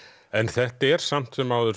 en þetta er samt sem áður